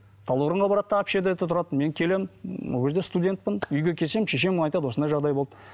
талдықорғанға барады да общагіде тұрады мен келемін ол кезде студентпін үйге келсем шешем айтады осындай жағдай болды